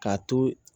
K'a to